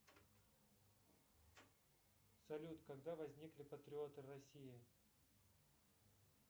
салют когда возникли патриоты в россии